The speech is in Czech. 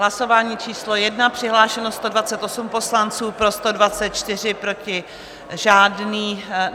Hlasování číslo 1, přihlášeno 128 poslanců, pro 124, proti žádný.